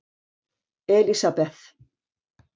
Elisabeth